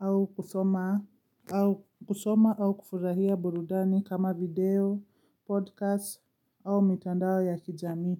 au kusoma au kufurahia burudani kama video, podcast au mtandao ya kijami.